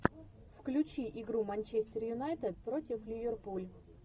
включи игру манчестер юнайтед против ливерпуль